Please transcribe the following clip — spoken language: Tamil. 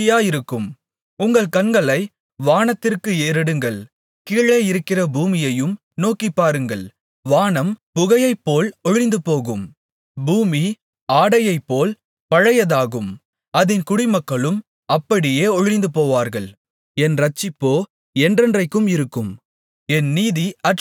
உங்கள் கண்களை வானத்திற்கு ஏறெடுங்கள் கீழே இருக்கிற பூமியையும் நோக்கிப்பாருங்கள் வானம் புகையைப்போல் ஒழிந்துபோகும் பூமி ஆடையைப்போல் பழையதாகும் அதின் குடிமக்களும் அப்படியே ஒழிந்துபோவார்கள் என் இரட்சிப்போ என்றென்றைக்கும் இருக்கும் என் நீதி அற்றுப்போவதில்லை